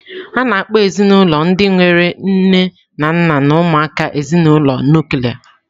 A na-akpọ ezinụlọ ndị nwere nne na nna na ụmụaka ezinụlọ nuklia